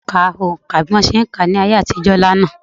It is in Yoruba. Ìyá - ìyá mi ka oǹkà bí wọn ṣe ń kà á ní ayé àtijọ́ lánàá